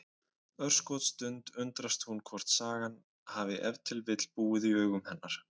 Örskotsstund undrast hún hvort sagan hafi ef til vill búið í augum hennar.